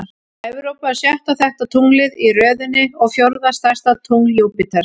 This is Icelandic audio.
Evrópa er sjötta þekkta tunglið í röðinni og fjórða stærsta tungl Júpíters.